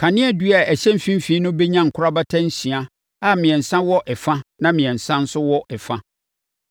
Kaneadua a ɛhyɛ mfimfini no bɛnya nkorabata nsia a mmiɛnsa wɔ ɛfa na mmiɛnsa nso wɔ ɛfa.